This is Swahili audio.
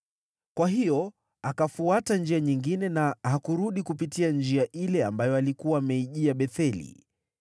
Kwa hiyo akafuata njia nyingine na hakurudi kupitia njia ile ambayo alikuwa ameijia Betheli.